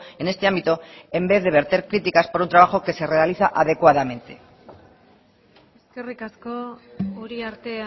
en este ámbito en vez de verter críticas por un trabajo que se realiza adecuadamente eskerrik asko uriarte